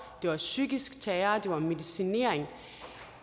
det var psykisk terror det var medicinering